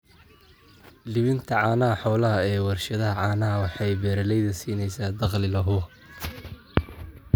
Iibinta caanaha xoolaha ee warshadaha caanaha waxay beeralayda siinaysaa dakhli la hubo.